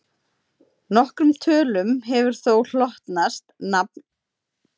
Nokkrum tölum hefur þó hlotnast nafn vegna sérstakra eiginleika sinna.